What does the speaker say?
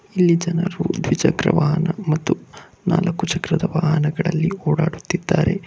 ಇಲ್ಲಿ ಜನರು ದ್ವಿಚಕ್ರ ವಾಹನ ಮತ್ತು ನಾಲ್ಕು ಚಕ್ರದ ವಾಹನಗಳಲ್ಲಿ ಓಡಾಡುತ್ತಿದ್ದಾರೆ.